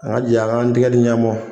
An ka jɛ an k'a tɛgɛ dl ɲɔgɔ ma.